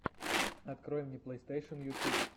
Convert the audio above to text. открой мне плейстейшен ютуб